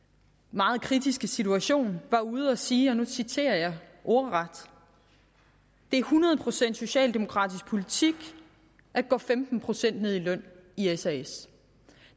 meget kritiske situation var ude at sige og nu citerer jeg ordret det er hundrede procent socialdemokratisk politik at gå femten procent ned i løn i sas